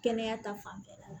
Kɛnɛya ta fanfɛla la